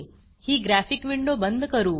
ही graphic window बंद करू